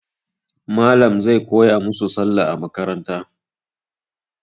Malam zai koya musu Sallah a makaranta.